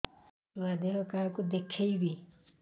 ଛୁଆ ଦେହ କାହାକୁ ଦେଖେଇବି